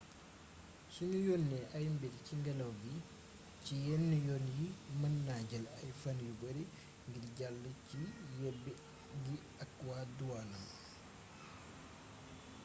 sunu yónnee ay mbir ci ngélaw li ci yenn yoon yi mën na jël ay fan yu bari ngir jàll ci yebbi gi ak waa duwaan